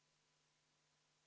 Aitäh, lugupeetud istungi juhataja!